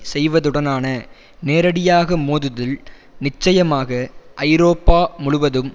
செய்வதுடனான நேரடியாக மோதுதல் நிச்சயமாக ஐரோப்பா முழுவதும்